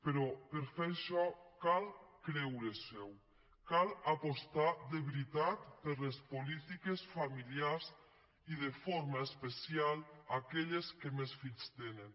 però per fer això cal creure s’ho cal apostar de veritat per les polítiques familiars i de forma especial per aquelles que més fills tenen